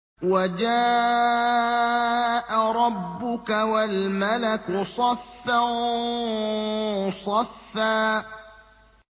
وَجَاءَ رَبُّكَ وَالْمَلَكُ صَفًّا صَفًّا